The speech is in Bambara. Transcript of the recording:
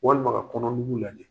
Walima ka kɔnɔnugu lajɛ.